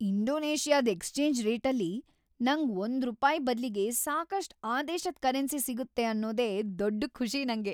ಇಂಡೋನೇಷ್ಯಾದ್ exchange ರೇಟಲ್ಲಿ ನಂಗ್ ಒಂದ್ರೂಪಾಯ್ ಬದ್ಲಿಗೆ ಸಾಕಷ್ಟ್‌ ಆ ದೇಶದ್‌ ಕರೆನ್ಸಿ ಸಿಗುತ್ತೆ ಅನ್ನೋದೇ ದೊಡ್ಡ್ ಖುಷಿ ನಂಗೆ.